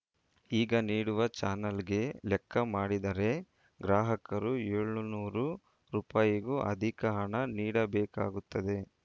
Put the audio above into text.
ಈಗ ನೀಡುವ ಚಾನಲ್‌ಗೆ ಲೆಕ್ಕ ಮಾಡಿದರೆ ಗ್ರಾಹಕರು ಏಳುನೂರು ರುಪಾಯಿಗೂ ಅದಿಕ ಹಣ ನೀಡಬೇಕಾಗುತ್ತದೆ